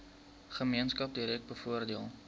gemeenskap direk bevoordeel